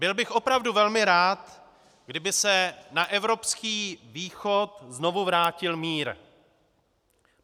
Byl bych opravdu velmi rád, kdyby se na evropský východ znovu vrátil mír.